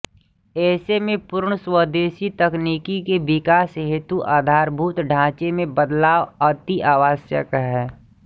ऐसे में पूर्ण स्वदेशी तकनीकी के विकास हेतु आधारभूत ढाचे में बदलाव अति आवश्यक है